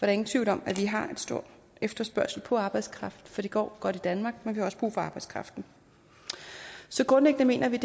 er ingen tvivl om at vi har en stor efterspørgsel på arbejdskraft for det går godt i danmark men vi har også brug for arbejdskraften så grundlæggende mener vi